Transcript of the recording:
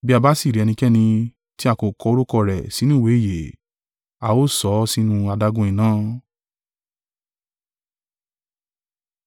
Bí a bá sì rí ẹnikẹ́ni tí a kò kọ orúkọ rẹ̀ sínú ìwé ìyè, a ó sọ ọ́ sínú adágún iná.